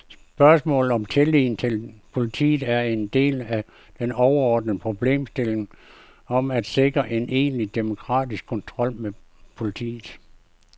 Spørgsmålet om tilliden til politiet er en del af den overordnede problemstilling om at sikre en egentlig demokratisk kontrol med politiet.